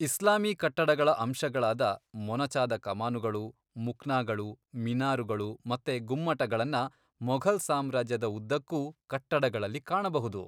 ಇಸ್ಲಾಮೀ ಕಟ್ಟಡಗಳ ಅಂಶಗಳಾದ ಮೊನಚಾದ ಕಮಾನುಗಳು, ಮುಕ್ನಾಗಳು, ಮಿನಾರುಗಳು ಮತ್ತೆ ಗುಮ್ಮಟಗಳನ್ನ ಮೊಘಲ್ ಸಾಮ್ರಾಜ್ಯದ ಉದ್ದಕ್ಕೂ ಕಟ್ಟಡಗಳಲ್ಲಿ ಕಾಣಬಹುದು.